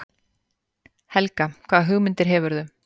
Helga: Hvaða hugmyndir hefurðu?